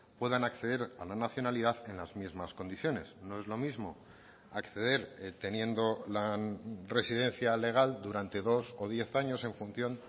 puedan acceder a la nacionalidad en las mismas condiciones no es lo mismo acceder teniendo la residencia legal durante dos o diez años en función